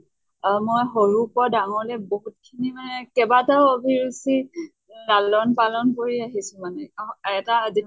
অহ মই সৰুৰ পৰা ডাঙৰলে বহুত খিনি মানে কেবাটাও অভিৰুচি লালন পালন কৰি আহিছো মানে। অহ আৰু এটা যেতিয়া